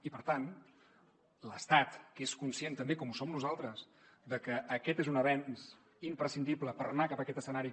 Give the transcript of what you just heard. i per tant l’estat que és conscient també com ho som nosaltres de que aquest és un avenç imprescindible per anar cap aquest escenari